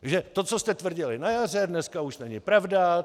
Takže to, co jste tvrdili na jaře, dnes už není pravda.